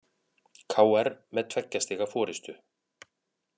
KR með tveggja stiga forystu